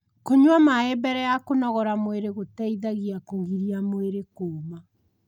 kũnyua maĩ mbele ya kũnogora mwĩrĩ gũteithagia kugirĩa mwĩrĩ kuuma